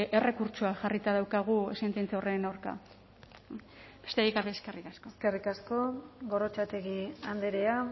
errekurtsoa jarrita daukagu sententzia horren aurka besterik gabe eskerrik asko eskerrik asko gorrotxategi andrea